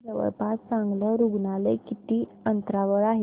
इथे जवळपास चांगलं रुग्णालय किती अंतरावर आहे